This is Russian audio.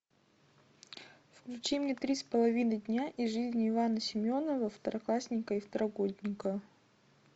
включи мне три с половиной дня из жизни ивана семенова второклассника и второгодника